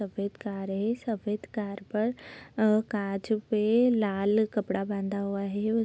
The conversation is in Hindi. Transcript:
सफ़ेद कार है। सफ़ेद कार पर अ काँच पे लाल कपड़ा बंधा हुआ है।